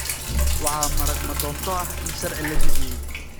waxaa marag ma doonto ah in sharci la jabiyay.